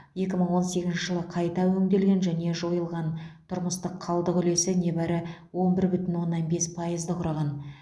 екі мың он сегізінші жылы қайта өңделген және жойылған тұрмыстық қалдық үлесі небәрі он бір бүтін оннан бес пайызды құраған